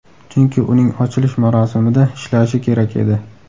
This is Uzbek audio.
Chunki uning ochilish marosimida ishlashi kerak edi”.